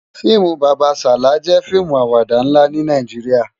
FIimú Baba Sala jè fiimú àwàdá nlá ni Nàijiriá